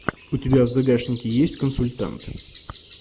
у тебя в загашнике есть консультант